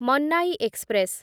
Mannai express